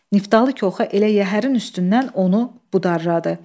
Niftalı Koxan elə yəhərin üstündən onu budardadı.